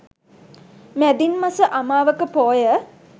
මැදින් මස අමාවක පෝය